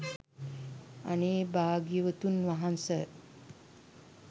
අනේ භාග්‍යවතුන් වහන්ස